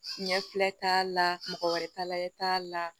Ɲɛ filɛ t'a la mɔgɔ wɛrɛ ta layɛ t'a la